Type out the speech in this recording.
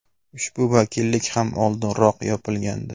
Ushbu vakillik ham oldinroq yopilgandi.